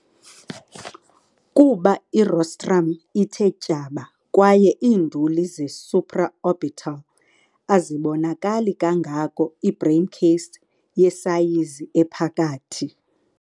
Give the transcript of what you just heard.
kuba i-rostrum ithe tyaba kwaye iinduli ze-supraorbital azibonakali kangako ii-braincase yesayizi ephakathi.